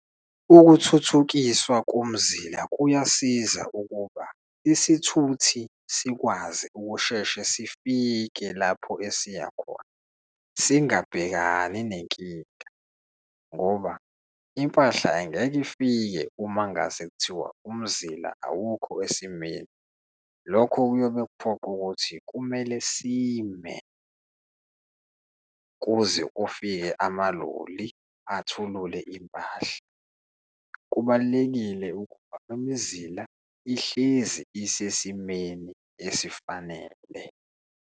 Ukuthuthukiswa komzila kuyasiza ukuba isithuthi sikwazi ukusheshe sifike lapho esiya khona singabhekani nenkinga, ngoba impahla angeke ifike uma kungase kuthiwa umzila awukho esimeni. Lokho kuyobe kuphoqa ukuthi kumele sime kuze kufike amaloli athulule impahla. Kubalulekile ukuba imizila ihlezi isesimeni esifanele.